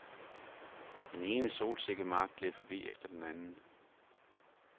Den ene solsikkemark gled forbi efter den anden.